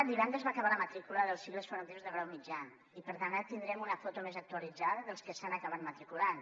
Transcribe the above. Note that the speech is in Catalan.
divendres va acabar la matrícula dels cicles formatius de grau mitjà i per tant ara tindrem una foto més actualitzada dels que s’hi han acabat matriculant